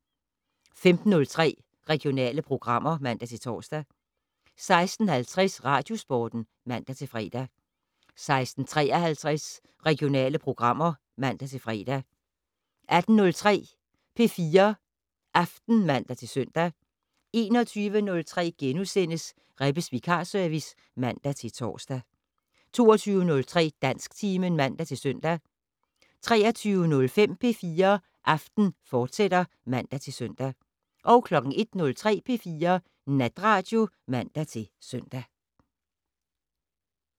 15:03: Regionale programmer (man-tor) 16:50: Radiosporten (man-fre) 16:53: Regionale programmer (man-fre) 18:03: P4 Aften (man-søn) 21:03: Rebbes vikarservice *(man-tor) 22:03: Dansktimen (man-søn) 23:05: P4 Aften, fortsat (man-søn) 01:03: P4 Natradio (man-søn)